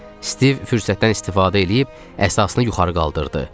Stiv fürsətdən istifadə eləyib əsasını yuxarı qaldırdı.